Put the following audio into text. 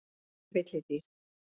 Hún er villidýr.